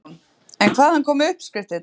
Hugrún: En hvaðan koma uppskriftirnar?